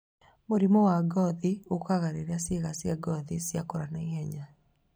Mũrimũ wa ngothi ũkaga rĩrĩa ciĩga cia ngothi cĩakura na ihenya